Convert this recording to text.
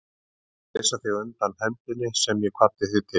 Ég ætlaði að leysa þig undan hefndinni sem ég kvaddi þig til.